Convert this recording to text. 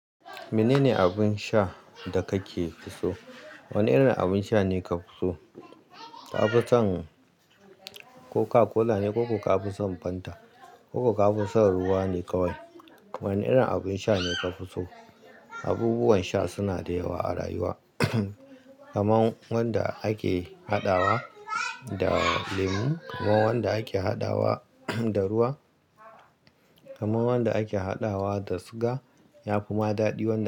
Menene abin sha da kake so? Wane irin abin sha ne ka fi so? Ka fi son Coca-Cola ne ko ka fi son Fanta? Ko ka fi son ruwa ne kawai? Wane irin abin sha ne ka fi so? Abubuwan sha suna da yawa a rayuwa, kamar wanda ake haɗawa da lemu, kamar wanda ake haɗawa da ruwa, kamar wanda ake haɗawa da suga, ya fi ma daɗi wanne?